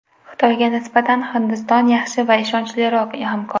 Xitoyga nisbatan Hindiston yaxshi va ishonchliroq hamkor.